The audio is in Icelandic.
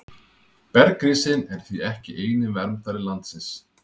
Bergrisinn er því ekki eini verndari landsins.